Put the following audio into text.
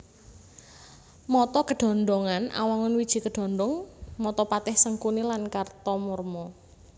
Mata kedhondhongan Awangun wiji kedhondhong mata Patih Sengkuni lan Kartamarma